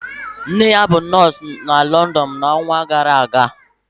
Nne ya bụ nọọsụ na London n'ọnwa gara aga